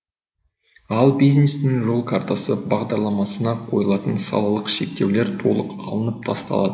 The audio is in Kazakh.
ал бизнестің жол картасы бағдарламасына қойылатын салалық шектеулер толық алынып тасталады